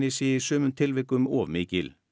sé í sumum tilvikum of mikil